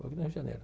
Do Rio de Janeiro.